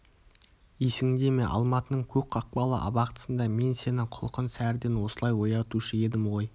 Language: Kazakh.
есіңде ме алматының көк қақпалы абақтысында мен сені құлқын сәріден осылай оятушы едім ғой